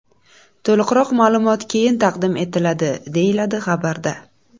To‘liqroq ma’lumot keyin taqdim etiladi”, deyiladi xabarda.